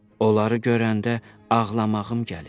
Onları görəndə ağlamağım gəlir.